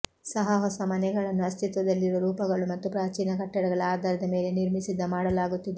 ಸಹ ಹೊಸ ಮನೆಗಳನ್ನು ಅಸ್ತಿತ್ವದಲ್ಲಿರುವ ರೂಪಗಳು ಮತ್ತು ಪ್ರಾಚೀನ ಕಟ್ಟಡಗಳ ಆಧಾರದ ಮೇಲೆ ನಿರ್ಮಿಸಿದ ಮಾಡಲಾಗುತ್ತಿದೆ